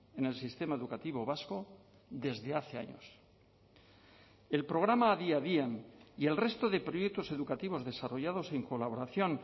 en el sistema educativo vasco desde hace años el programa adi adian y el resto de proyectos educativos desarrollados en colaboración